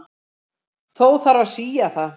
Þó þarf að sía það.